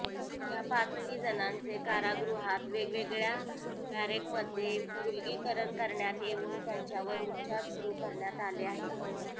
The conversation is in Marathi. या पाचही जणांचे कारागृहात वेगवेगळ्या बॅरेकमध्ये विलगीकरण करण्यात येऊन त्यांच्यावर उपचार सुरू करण्यात आले आहेत